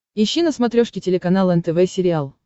ищи на смотрешке телеканал нтв сериал